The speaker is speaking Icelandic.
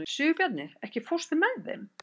Sigurbjarni, ekki fórstu með þeim?